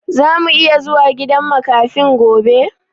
Zamu iya zuwa gidan makafin gobe?